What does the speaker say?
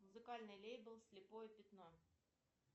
музыкальный лейбл слепое пятно